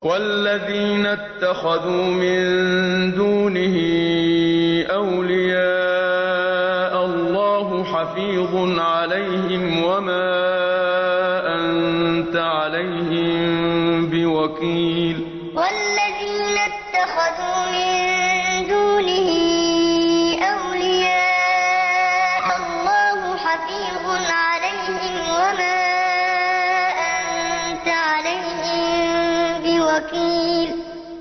وَالَّذِينَ اتَّخَذُوا مِن دُونِهِ أَوْلِيَاءَ اللَّهُ حَفِيظٌ عَلَيْهِمْ وَمَا أَنتَ عَلَيْهِم بِوَكِيلٍ وَالَّذِينَ اتَّخَذُوا مِن دُونِهِ أَوْلِيَاءَ اللَّهُ حَفِيظٌ عَلَيْهِمْ وَمَا أَنتَ عَلَيْهِم بِوَكِيلٍ